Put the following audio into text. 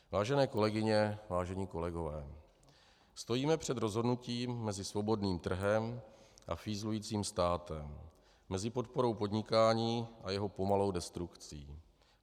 Vážené kolegyně, vážení kolegové, stojíme před rozhodnutím mezi svobodným trhem a fízlujícím státem, mezi podporou podnikání a jeho pomalou destrukcí.